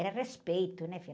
Era respeito, né, filha?